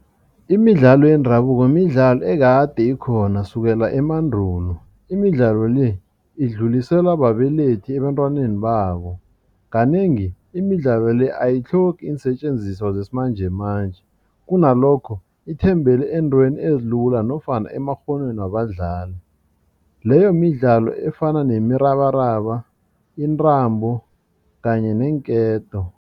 Imidlalo yendabuko midlalo ekade ikhona sukela emandulo imidlalo le idluliselwa babelethi ebantwaneni babo kanengi imidlalo le ayitlhoga iinsetjenziswa zesimanje manje kunalokho ithembele eentweni ezilula nofana emakghonweni wabadlali. Leyo midlalo efana nemirabaraba intambo kanye neenketo.